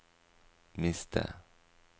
miste